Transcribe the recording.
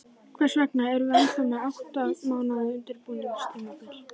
Hvers vegna erum við ennþá með átta mánaða undirbúningstímabil?